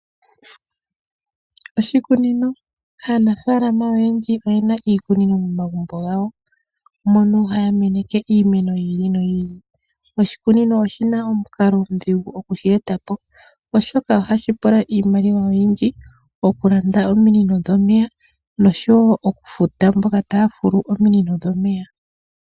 Oshikunino, aanafaalama oyendji oyena iikunino momagumbo gawo mono haya meneke iimeno yi ili noyi ili. Oshikunino oshina omukalo omudhigu okushi eta po, oshoka ohashi pula iimaliwa oyindji okulanda ominino dhomeya nosho wo okufuta mboka taya fulu ominino dhomeya.